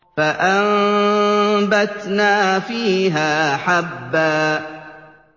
فَأَنبَتْنَا فِيهَا حَبًّا